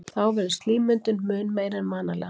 Þá verður slímmyndun mun meiri en vanalega.